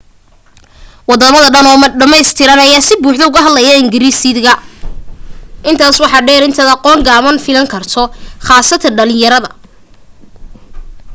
waddama dhan oo dhammaystiran ayaa si buuxda ugu hadla ingiriisida intaas waxa dheer inaad aqoon gaaban filan karto khaasatan dhalinyarada